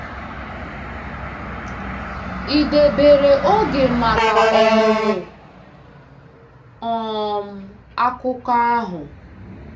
Ị debere oge maka ọmụmụ um akụkọ ahụ?